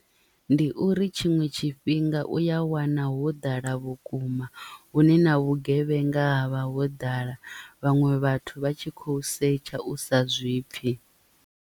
Ndi uri tshiṅwe tshifhinga u ya wana ho ḓala vhukuma hune na vhugevhenga ha vha ho ḓala vhaṅwe vhathu vha tshi khou setsha u sa zwipfi.